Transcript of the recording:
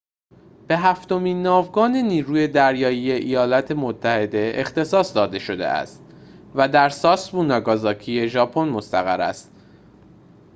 به هفتمین ناوگان نیروی دریایی ایالات متحده اختصاص داده شده و در ساسبو ناگازاکی ژاپن مستقر است